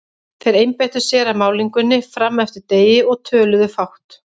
Þeir einbeittu sér að málningunni fram eftir degi og töluðu fátt.